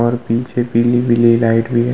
और पीछे पीली-पीली लाइट भी है।